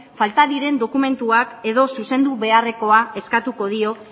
falta diren dokumentuak edo zuzendu beharrekoa eskatuko dio